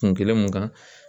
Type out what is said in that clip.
Kun kelen mun kan